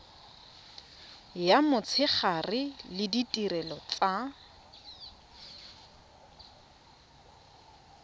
ya motshegare le ditirelo tsa